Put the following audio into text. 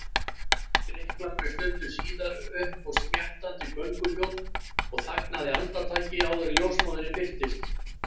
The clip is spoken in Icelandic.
Drykklangri stundu síðar upphófst smjattandi gönguhljóð og þagnaði andartaki áður en ljósmóðirin birtist.